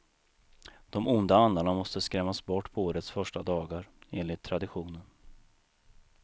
De onda andarna måste skrämmas bort på årets första dagar, enligt traditionen.